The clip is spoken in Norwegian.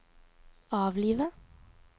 avlive